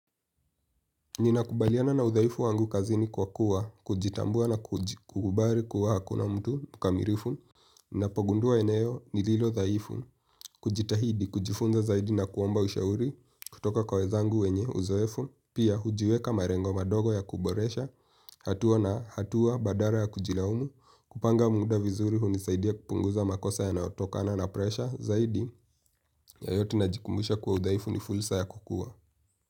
Ninakubaliana na udhaifu wangu kazini kwa kuwa, kujitambua na kukubali kuwa hakuna mtu mkamilifu. Napogundua eneo nililodhaifu, kujitahidi, kujifunza zaidi na kuomba ushauri, kutoka kwa wenzangu wenye uzoefu. Pia hujiweka malengo madogo ya kuboresha, hatua na hatua badala ya kujilaumu. Kupanga muda vizuri hunisaidia kupunguza makosa yanayotokana na presha zaidi. Yeyote najikumbusha kwa udhaifu ni fursa ya kukua.